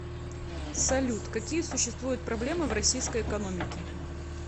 салют какие существуют проблемы в российской экономике